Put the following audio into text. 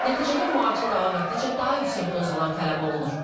Nəticədə müalicə davam etdikcə daha yüksək dozalar tələb olunur.